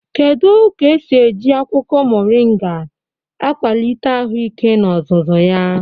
Kedu ka esi eji akwụkwọ moringa akwalite ahụike n'ozuzu ya?